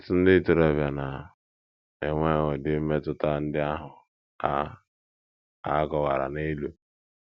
Ọtụtụ ndị ntorobịa na - enwe ụdị mmetụta ndị ahụ a a kọwara n’elu.